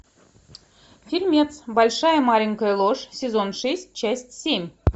фильмец большая маленькая ложь сезон шесть часть семь